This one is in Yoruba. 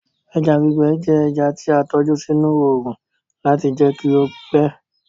Eja gbígbẹ jẹ ẹja ti a tọju sinu óórun lati jẹ kí ó pẹ